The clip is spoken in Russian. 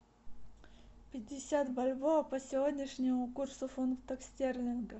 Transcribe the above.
пятьдесят бальбоа по сегодняшнему курсу фунтов стерлингов